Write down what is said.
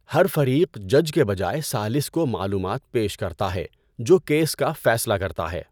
ہر فریق جج کے بجائے ثالث کو معلومات پیش کرتا ہے، جو کیس کا فیصلہ کرتا ہے۔